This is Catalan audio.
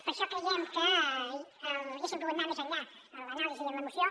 per això creiem que haguéssim pogut anar més enllà en l’anàlisi i en la moció